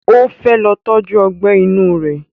O fẹ́ lọ tọ́jú Ọgbẹ́ inú rẹ̀